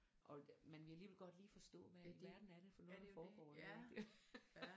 Og men vil alligevel godt lige forstå hvad i alverden er det for noget der foregår ik rigtigt